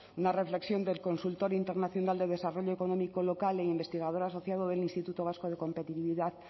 una reflexión del consultorio internacional de desarrollo económico local e investigador asociado del instituto vasco de competitividad